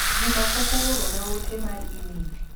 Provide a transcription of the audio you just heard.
Juma pok oorona ote mar imel